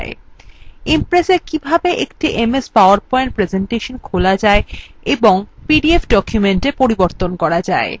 impressএ কিভাবে একটি ms powerpoint presentation খোলা যায় এবং pdf ডকুমেন্টএ পরিবর্তন করা যায়